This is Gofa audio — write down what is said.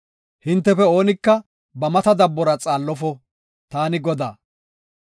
“Hintefe oonika ba mata dabbora xaallofo. Taani Godaa.